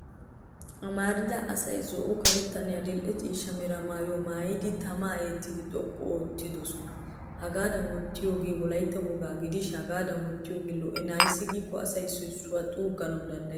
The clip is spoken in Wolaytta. Amarida asay zo'o karettanne adil'e ciishsha mera maayyuwa maayidi tamaa eetidi xoqqu oottidosona. Hagaadan oottiyoogee wolaytta wogaa gidishin hagaadan oottiyoogee lo'enna ayssi giikko asay issoy issuwaa xuuggana danddayes.